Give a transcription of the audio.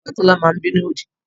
Bàbá Tọ́lá máa ń bínú òdì